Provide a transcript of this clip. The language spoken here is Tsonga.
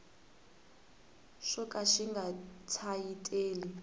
xo ka xi nga tsayiteli